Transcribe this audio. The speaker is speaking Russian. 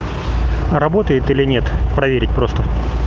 работает или нет проверить просто